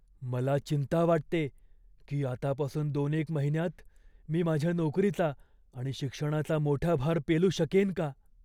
मला चिंता वाटते की आतापासून दोनेक महिन्यांत मी माझ्या नोकरीचा आणि शिक्षणाचा मोठा भार पेलू शकेन का?